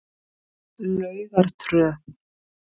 Laugartröð